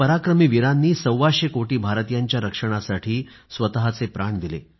या पराक्रमी वीरांनी सव्वाशे कोटी भारतीयांच्या रक्षणासाठी स्वतःचे प्राण दिले